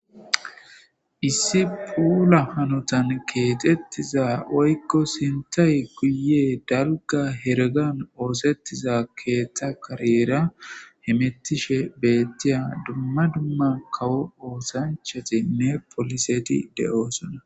issi puula hanotan keetettiza oykko sintay kuye dalga hergan oosettiza keeththa kareera hemettishe beettiya dumma dumma kawo oosanchatinne poliseti de7oosona